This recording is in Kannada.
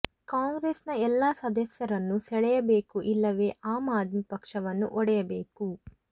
ಕಾಂಗ್ರೆಸ್ನ ಎಲ್ಲ ಸದಸ್ಯರನ್ನೂ ಸೆಳೆಯಬೇಕು ಇಲ್ಲವೆ ಆಮ್ ಆದ್ಮಿ ಪಕ್ಷವನ್ನು ಒಡೆಯಬೇಕು